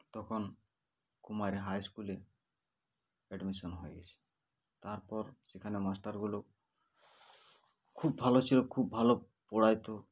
তখন Kumar High school -এ admission হয়ে গেছে তারপর সেখানে master গুলো BREATH খুব ভালো ছিল খুব ভালো পড়াইতো